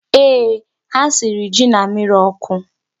Ee, ha siri ji na mmịrị ọkụ.